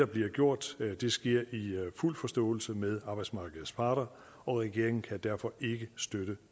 bliver gjort sker i fuld forståelse med arbejdsmarkedets parter og regeringen kan derfor ikke støtte